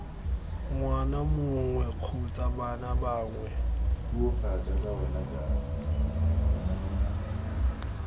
ngwana mongwe kgotsa bana bangwe